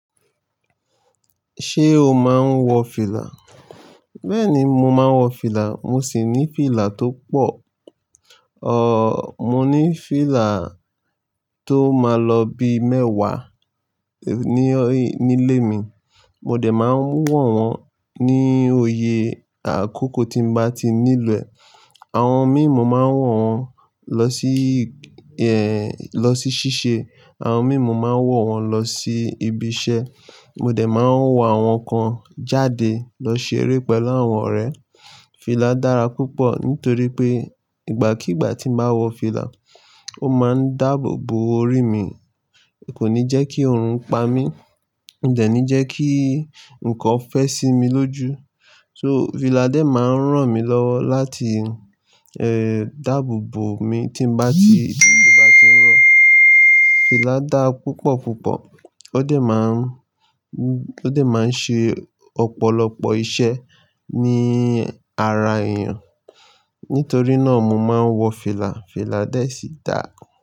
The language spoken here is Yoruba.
Ṣé o máa ń wọ fìlà? Bẹ́ẹ̀ni, mo máa ń wọ fìlà. Mo sì ní fìlà tó pọ̀. Ọ̀, mo ní fìlà tó máa lọ bí mẹ́wàá nílé mi. Mo dẹ̀ máa ń wọ̀n wọn ní oyè àkókò tí mo bá ti nílo ẹ̀. Àwọn mí mo máa wọ̀n wọn lọ sí, ẹ́, lọ sí ṣíṣe. Àwọn mímu máa wọ̀n wọn lọ sí ibi iṣẹ́. Mo dẹ̀ máa ń wọ àwọn kan jáde lọ ṣeré pẹ̀lú àwọn ọ̀rẹ́. Fìlà dára púpọ̀ nítorí pé ìgbàkígbà tí mo bá wọ fìlà, ó máa ń dáàbò bo orí mi. Kò ní jẹ́ kí oòrùn pa mí. Ó dẹ̀ ní jẹ́ kí nǹkan fẹ́ sí mi lójú. So fìlà dẹ̀ máa ń ràn mí lọ láti, ẹ́ẹ́, dáàbò bo mi tí mo bá ti, tí òjò bá ti ń rọ̀. Fìlà dára púpọ̀ púpọ̀. Ó dẹ̀ máa ń, ó dẹ̀ máa ń ṣe ọ̀pọ̀lọpọ̀ iṣẹ́ ní ara èèyàn. Nítorí náà mo máa ń wọ fìlà. Fìlà dẹ̀ sì dára.